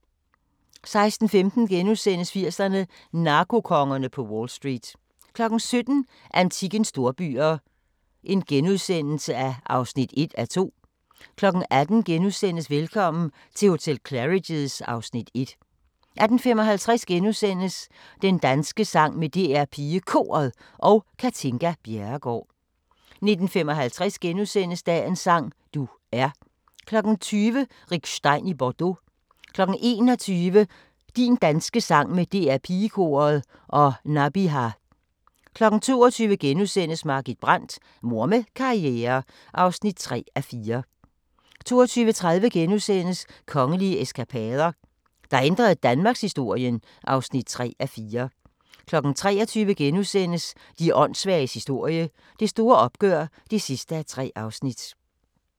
16:15: 80'erne: Narkokongerne på Wall Street * 17:00: Antikkens storbyer (1:2)* 18:00: Velkommen til hotel Claridge's (Afs. 1)* 18:55: Din danske sang med DR PigeKoret og Katinka Bjerregaard * 19:55: Dagens sang: Du er * 20:00: Rick Stein i Bordeaux 21:00: Din danske sang med DR PigeKoret og Nabiha 22:00: Margit Brandt – Mor med karriere (3:4)* 22:30: Kongelige eskapader – der ændrede danmarkshistorien (3:4)* 23:00: De åndssvages historie – Det store opgør (3:3)*